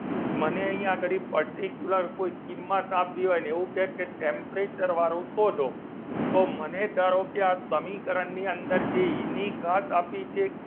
મને અહીં આગળ particuler કોઈ કિંમત આપી હોય અને એવું કે કે temperature વાળું શોધો તો મને ધારો કે આ સમીકરણની અંદર જે એની ઘાત આપી છે.